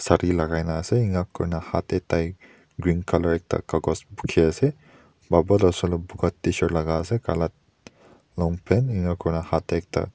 sathi lagi kina ase ngat koina hatte tai green colour ekta kagos phuki ase tshirt laga ase kala long pant ena kora.